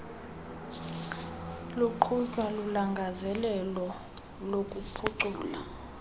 ziqhutywa lulangazelelo lokuphucula